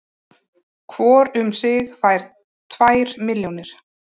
Hvor um sig fær tvær milljónir